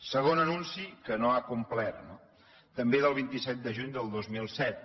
segon anunci que no ha complert no també del vint set de juny del dos mil set